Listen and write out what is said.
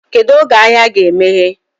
Kedụ oge ahịa ga emeye?